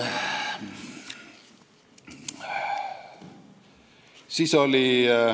Siis oli ...